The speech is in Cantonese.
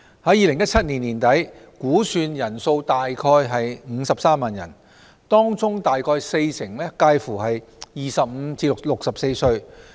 在2017年年底，估算人數約53萬人，當中約四成介乎25歲至64歲。